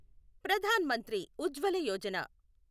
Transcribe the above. Pradhan Mantri Ujjwala Yojana